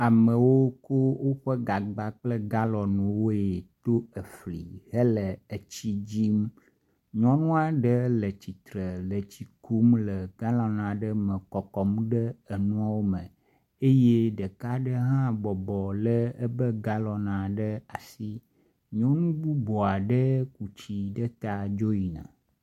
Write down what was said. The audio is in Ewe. Amewo ku woƒe gagba kple woƒe galɔni woe ɖo efli hele etsi dzim. Nyɔnu aɖe le tsitre le tsi kum le galɔn aɖe me kɔkɔm ɖe enuawo me yee ɖeka aɖe hã bɔbɔ le eƒe galɔn ɖe asi. Nyɔnu bubu aɖe ku tsi ɖe ta dzo yina.